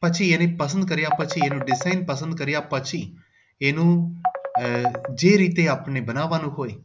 પછી એને પસંદ કાર્ય પછી એને પસંદ કાર્ય પછી એનું આહ જે રીતે બનાવવાનું હોય